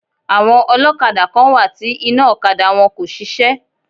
Àwọn ọlọ́kadà kán wá ti iná ọ̀kadà wọn kò ṣiṣẹ́.